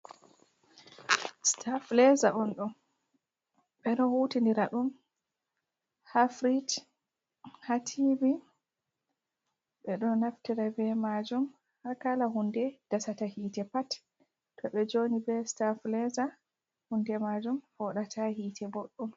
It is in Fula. Sitafileza on ɗo, ɓeɗo hutinira ɗum ha firish, ha tibi, be ɗo naftira be majum haa kala hunde dasata hite pat to ɓe joni be sitafileza hunde majum foɗata hite boɗɗom.